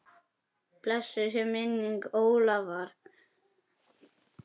Blessuð sé minning Ólafar.